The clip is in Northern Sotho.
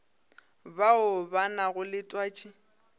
bao ba nago le twatši